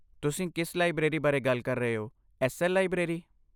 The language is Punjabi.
ਤੁਸੀਂ ਕਿਸ ਲਾਇਬ੍ਰੇਰੀ ਬਾਰੇ ਗੱਲ ਕਰ ਰਹੇ ਹੋ, ਐੱਸ.ਐੱਲ. ਲਾਇਬ੍ਰੇਰੀ?